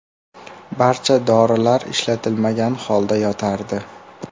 Barcha dorilar ishlatilmagan holda yotardi.